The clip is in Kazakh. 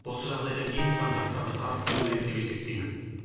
осы жағдайдан кейін стандарттарды қарастыру керек деп есептеймін